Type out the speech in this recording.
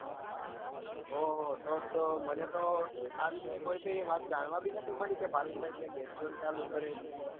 ઓં હો તો તો મને તો આ વિષે કોઈ બી વાત જાણવા બી નથી મળી કે ભાવિન ભાઈ ત્યાં game zone નું ચાલુ કરે છે.